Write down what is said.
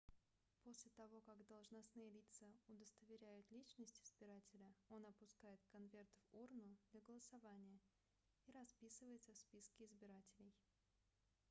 после того как должностные лица удостоверяют личность избирателя он опускает конверт в урну для голосования и расписывается в списке избирателей